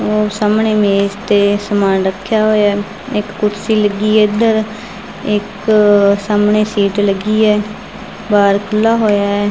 ਉਹ ਸਾਹਮਣੇ ਮੇਜ ਤੇ ਸਮਾਨ ਰੱਖਿਆ ਹੋਇਆ ਆ ਇੱਕ ਕੁਰਸੀ ਲੱਗੀ ਆ ਇੱਧਰ ਇੱਕ ਸਾਹਮਣੇ ਸੀਟ ਲੱਗੀ ਆ ਬਾਹਰ ਖੁੱਲਿਆ ਹੋਇਆ ਹੈ।